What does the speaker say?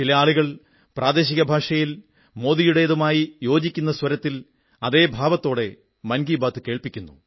ചില ആളുകൾ പ്രാദേശിക ഭാഷയിൽ മോദിയുടേതുമായി യോജിക്കുന്ന സ്വരത്തിൽ അതേ ഭാവത്തോടെ മൻ കീ ബാത് കേൾപ്പിക്കുന്നു